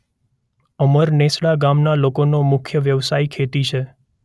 અમરનેસડા ગામના લોકોનો મુખ્ય વ્યવસાય ખેતી છે.